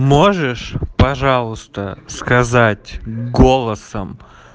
можешь пожалуйста сказать голосом